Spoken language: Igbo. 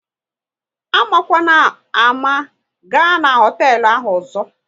Amakwana ámá, ga na hoteelu ahụ ọzọ!